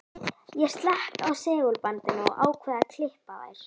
Ég slekk á segulbandinu og ákveð að klippa þær.